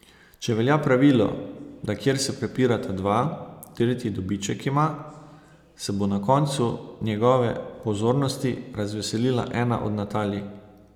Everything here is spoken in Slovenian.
Če velja pravilo, da kjer se prepirata dva, tretji dobiček ima, se bo na koncu njegove pozornosti razveselila ena od Natalij.